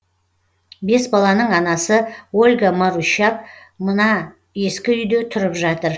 бес баланың анасы ольга марущак мына ескі үйде тұрып жатыр